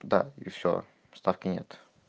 да и все ставки нет